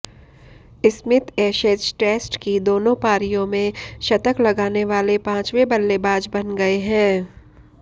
Smith Ashes test की दोनों पारियों में शतक लगाने वाले पांचवें बल्लेबाज बन गए हैं